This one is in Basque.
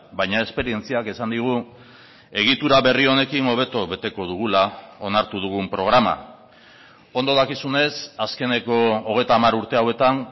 baina esperientziak esan digu egitura berri honekin hobeto beteko dugula onartu dugun programa ondo dakizunez azkeneko hogeita hamar urte hauetan